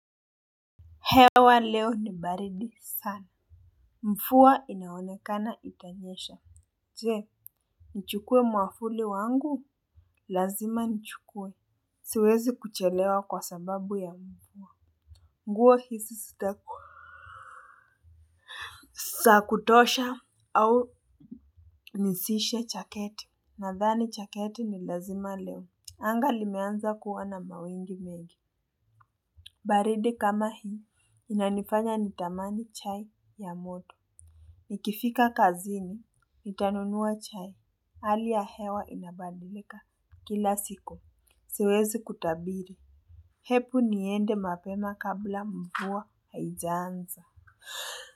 Hewa leo ni baridi sana. Mvua inaonekana itanyesha. Je, nichukue mwavuli wangu. Lazima nichukue. Siwezi kuchelewa kwa sababu ya mvua. Nguo hizi zitakua. Zakutosha au nisishe chaketi. Nadhani jaketi ni lazima leo. Anga limeanza kuwa na mawingu mengi. Baridi kama hii inanifanya nitamani chai ya moto. Nikifika kazini, nitanunua chai, hali ya hewa inabadilika, kila siku siwezi kutabiri, hebu niende mapema kabla mvua haijanza.